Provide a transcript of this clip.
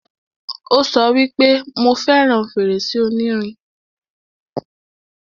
Ó sọ wípé, 'Mo fẹràn fèrèsé onírin'